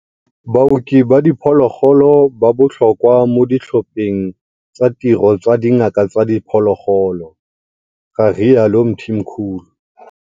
Baoki ba diphologolo ba botlhokwa mo ditlhopheng tsa tiro tsa dingaka tsa diphologolo, ga rialo Mthimkhulu.